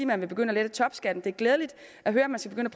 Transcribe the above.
man vil begynde at lette topskatten det er glædeligt at høre at man skal